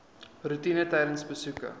roetine tydens besoeke